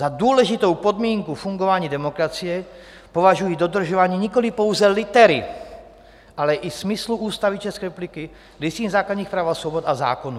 Za důležitou podmínku fungování demokracie považují dodržování nikoliv pouze litery, ale i smyslu Ústavy České republiky, Listiny základních práv a svobod a zákonů."